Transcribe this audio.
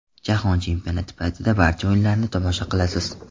Jahon chempionati paytida barcha o‘yinlarni tomosha qilasiz.